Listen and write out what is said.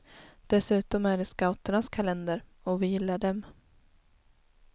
Dessutom är det scouternas kalender, och vi gillar dem.